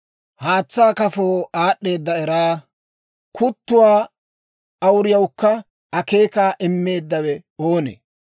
Haatsaa kafoo aad'd'eeda eraa, kuttuwaa awuriyawukka akeekaa immeeddawe oonee?